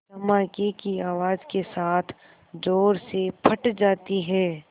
धमाके की आवाज़ के साथ ज़ोर से फट जाती है